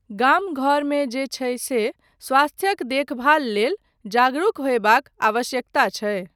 गाम घरमे जे छै से स्वास्थ्यक देखभाल लेल जागरुक होयबाक आवश्यकता छै।